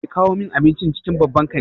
Kada ki kawo min abincin cikin babban kanti!